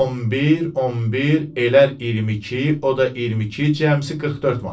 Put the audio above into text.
11, 11 elər 22, o da 22 cəmsi 44 manat.